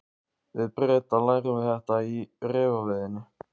Við Bretar lærum þetta í refaveiðinni.